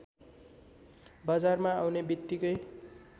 बजारमा आउने बित्तिकै